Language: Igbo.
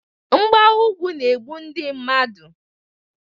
Mgbawa ugwu na-egbu ndị mmadụ